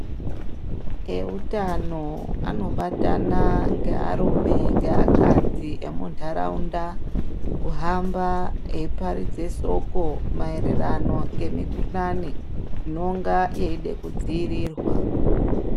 Eutano anobatana nearume neakandzi emuntaraunda kuhamba eiparidza soko mayererano nemukuhlane inonga yeida kudziirirwa.